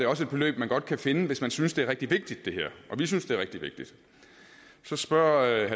også et beløb man godt kan finde hvis man synes det er rigtig vigtigt og vi synes det er rigtig vigtigt så spørger